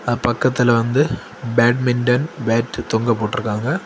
பக்கத்துல வந்து badminton bat தொங்க போட்டிருக்காங்க.